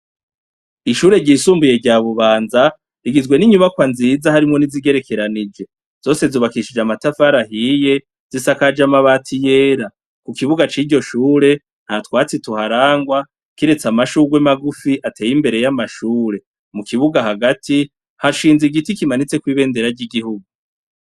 Ishure ryisumbuye rya Bubanza rigizwe ninyubakwa nziza harimwo nizigerekeranije zose zubakishijwe amatafari ahiye zisakaje amabati yera kukibuga ciryo shure ntatwatsi turangwa kiretse amashurwe magufi ateye imbere yamashure mukibuga hagati hashinze igiti kimanitseko ibendera ryigihugu.